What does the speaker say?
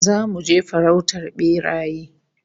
Zamu je farautar beraye